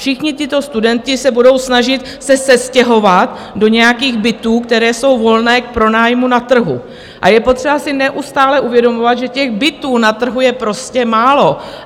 Všichni tito studenti se budou snažit se sestěhovat do nějakých bytů, které jsou volné k pronájmu na trhu, a je potřeba si neustále uvědomovat, že těch bytů na trhu je prostě málo.